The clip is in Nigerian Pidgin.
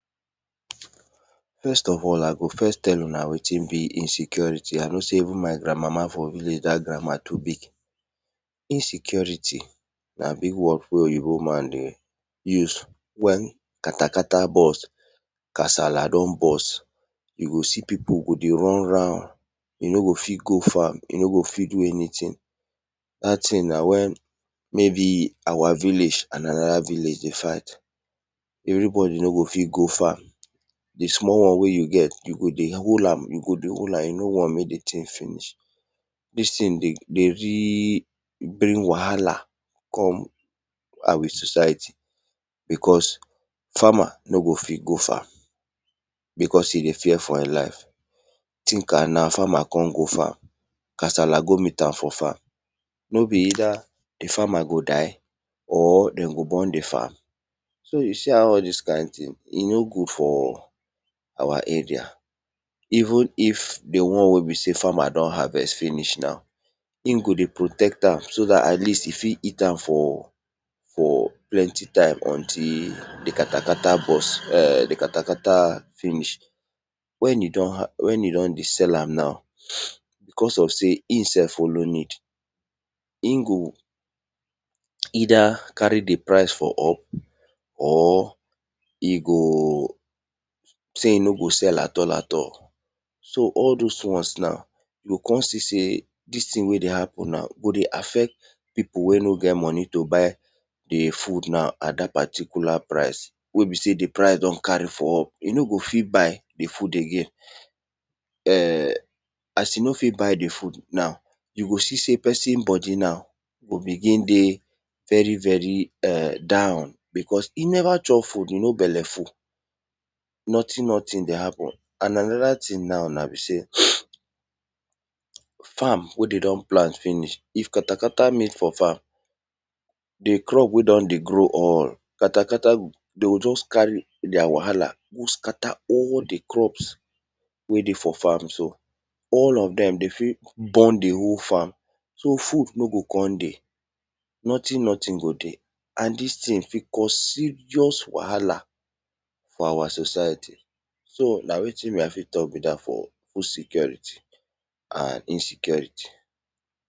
First of all I go first tell una wetin be insecurity I know sey una forvillage dat grammar too big. Insecurity na big word wey oyibo man dey use wen katakata burst kasala don burst, you go se pipu dey run, you nogo fit go farm, you no go fit do anything, dat thingna wen maybe our village and anoda village dey fight, everybody no gofit go farm, di small won wey you get you go dey hollam you no want mek e finish. Dis tthing dey bring wahala come our society because farmer no go fit go farm because e dey fear for e life. Thing am na farmer kon go frm, kasala kon met am for farm, no be either di farmer go die or den go burn di farm so you see how all dis kind thing e no good for our area. Even if de won wey be sey farmer don harvest finish now e go dey protect am so dat at least e fit eat am until di katakat finish. Wen e don dey sell am now because of sey e sef follow need, e go either carry di price up or e go sey e no dey sell at all at all. So all those now e go dey affect pipu wey no get moni to buy di food now at dat particular pricwey be sey di price don carry for up e no go fit buy di food again, as e no fiot buy di food now, you go see sey opesin bodi go dey down because e neva chop food e no bela fuul, nothing nothing ey happen and anoda thing nan a sey, farm wey de don plant finish if katakata dey for farm, di crop wey don dey grow, katakata de g jkust carry their wahala go scatter all di crop wey dey for farm so all of dem de fit burn di whole farm so food no go kon dey, nothing nothing go kon dey and dis thing fit cause serious wahala for our society so na wetin I fit talk be dat for food security and insecurity.